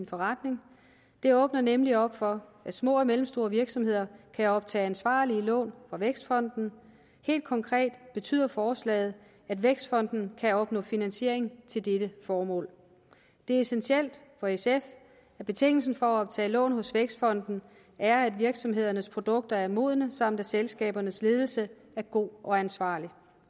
forretning det åbner nemlig op for at små og mellemstore virksomheder kan optage ansvarlige lån fra vækstfonden helt konkret betyder forslaget at vækstfonden kan opnå finansiering til dette formål det er essentielt for sf at betingelsen for at optage lån hos vækstfonden er at virksomhedernes produkter er modne samt at selskabernes ledelse er god og ansvarlig